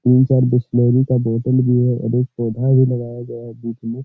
तीन-चार बिसलेरी का बोतल भी है और एक पोधा भी लगया गया है बीच में --